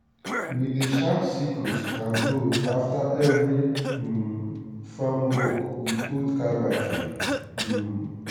we dey sharp sickles and hoe after every um farm work with old car battery. um